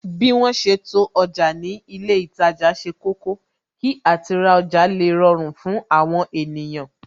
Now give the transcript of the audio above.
Bí wọn ṣe to ọjà ni ilé itaja ṣe kọ́kọ́, kí àti ra ọjà le rọrùn fún àwọn ènìyàn